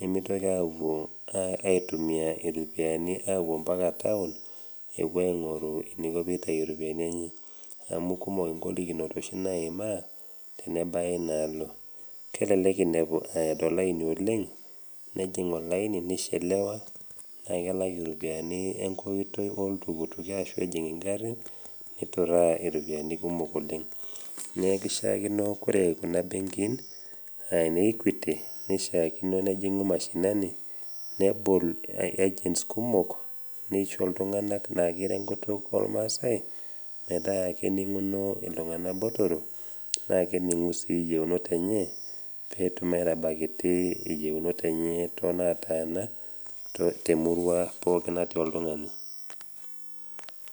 nemeitoki awuo aitumia iropiani awuo mpaka town ewuo aing'oru eneiko peitayu iropiani enye amu kumok ingolikinot oshi naimaa tenebaya inaalo. Kelelek einepu eado olaini oleng, nejing olaini neishelewa naa kelak iropiani enkoitoi oltukutuki ashu ejing ingarin, neituraa iropiani kumok oleng. Neaku eishaakino ore kuna mbenkin anaa ene Equity neishaakino nejing'u mashinani nebol agents kumok neisho iltung'ana na keiro enkutuk olmaasai metaa kening'uno iltung'ana botoro naa kening'u sii iyeunot enye, petum aitabaiki iyeunot tonaatana temurua pookin natii oltung'ani.